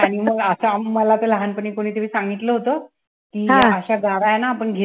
आणि मग असं मला तर लहानपणी कोणीतरी सांगितलं होतं कि अश्या गारा ना आपण घेतल्या ना